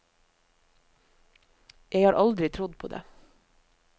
Jeg har aldri trodd på det.